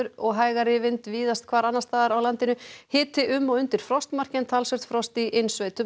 og hægari vind víðast hvar annars staðar á landinu hiti um og undir frostmarki en talsvert frost í innsveitum